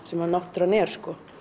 sem náttúran er og